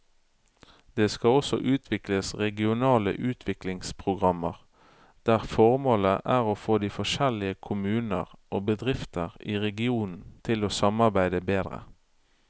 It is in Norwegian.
Det skal også utvikles regionale utviklingsprogrammer der formålet er å få de forskjellige kommuner og bedrifter i regionene til å samarbeide bedre.